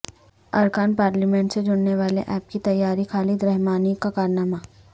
ارکان پارلیمنٹ سے جوڑنے والے ایپ کی تیاری خالد رحمانی کا کارنامہ